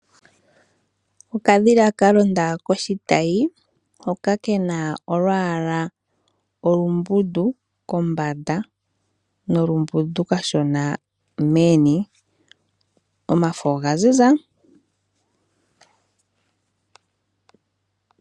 Okadhila ka londa koshitayi, hoka kana olwaala olumbundu kombanda, no kambundu kashona meni. Omafo oga ziza.